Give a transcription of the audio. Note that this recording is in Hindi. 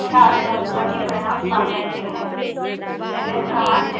एल एस command से output डब्ल्यूसी command के लिए input के रूप में जाता है